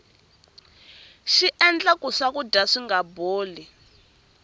xiendla ku swakudya swinga boli